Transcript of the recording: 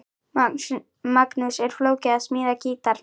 Magnús: Er flókið að smíða gítar?